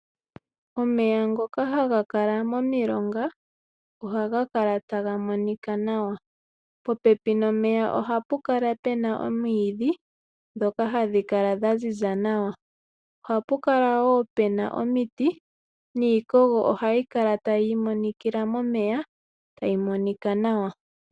Omeya ngoka haga kala momilonga ohaga kala taga monika nawa, po pepi nomeya ohapu kala puna omwiidhi ndhoka hadhi kala dha ziza nawa, ohapu kala wo puna omiti niikogo wo ohayi kala tayi monikila momeya tayi monika nawa.